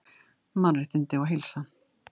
Mannréttindi og heilsa